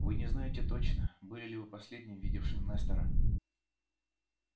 вы не знаете точно были ли вы последним видевшим нестора